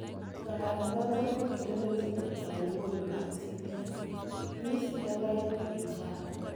Ngalalet noton kokitelelchin nemwoe logoiwek kap CBS News Elaine Quijano.